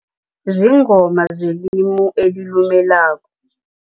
Ziingoma zelimi elilumelako.